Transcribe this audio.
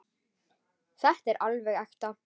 Þetta er alveg ekta.